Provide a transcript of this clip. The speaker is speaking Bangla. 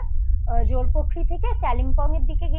এর দিকেই এই দুটো জায়গাই তারপর আমরা জোরপোখরি থেকে